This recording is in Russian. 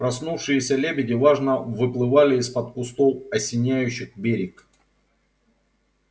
проснувшиеся лебеди важно выплывали из-под кустов осеняющих берег